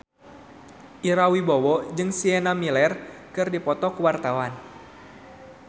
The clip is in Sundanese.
Ira Wibowo jeung Sienna Miller keur dipoto ku wartawan